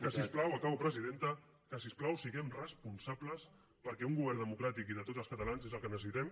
que si us plau acabo presidenta que si us plau siguem responsables perquè un govern democràtic i de tots els catalans és el que necessitem